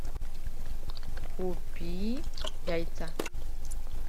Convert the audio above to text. купи яйца